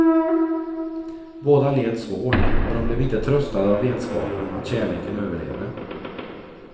Båda led svårt, och de blev inte tröstade av vetskapen att kärleken överlevde.